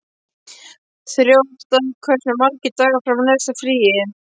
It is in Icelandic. Þjóstar, hversu margir dagar fram að næsta fríi?